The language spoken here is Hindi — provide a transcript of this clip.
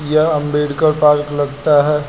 यह अंबेडकर पार्क लगता है।